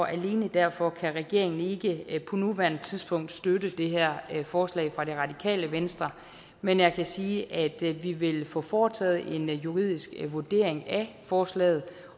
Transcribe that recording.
alene derfor kan regeringen ikke på nuværende tidspunkt støtte det her forslag fra radikale venstre men jeg kan sige at vi vil få foretaget en juridisk vurdering af forslaget